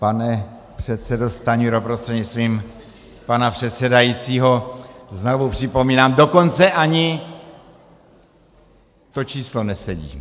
Pane předsedo Stanjuro prostřednictvím pana předsedajícího, znovu připomínám, dokonce ani to číslo nesedí.